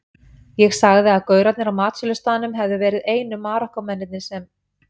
Ég sagði að gaurarnir á matsölustaðnum hefðu verið einu Marokkómennirnir sem